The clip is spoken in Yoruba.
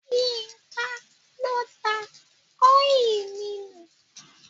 Yínká ló da ọ́ìlì mi nù.